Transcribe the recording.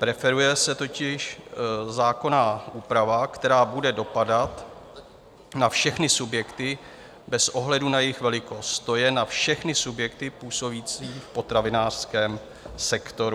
Preferuje se totiž zákonná úprava, která bude dopadat na všechny subjekty bez ohledu na jejich velikost, to je na všechny subjekty působící v potravinářském sektoru.